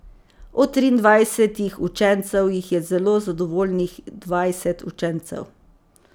Od triindvajsetih učencev jih je zelo zadovoljnih dvajset učencev.